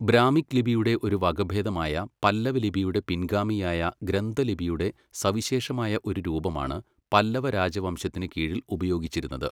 Brahmic ലിപിയുടെ ഒരു വകഭേദമായ പല്ലവ ലിപിയുടെ പിൻഗാമിയായ ഗ്രന്ഥ ലിപിയുടെ സവിശേഷമായ ഒരു രൂപമാണ് പല്ലവ രാജവംശത്തിന് കീഴിൽ ഉപയോഗിച്ചിരുന്നത്.